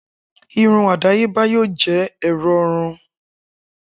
Irun adayeba yoo jẹ ẹrọ hun